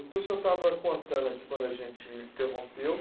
Então, o senhor estava contando aqui, quando a gente interrompeu,